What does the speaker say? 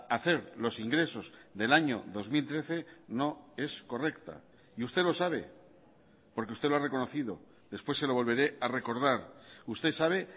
hacer los ingresos del año dos mil trece no es correcta y usted lo sabe porque usted lo ha reconocido después se lo volveré a recordar usted sabe